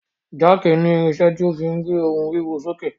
Jáàkì ni irinṣẹ́ tí a fí gbé ohun wíwo sókè.